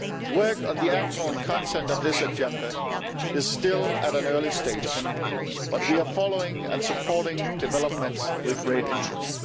Work on the actual content of this agenda is still at an early stage, but we are following and supporting developments with great interest.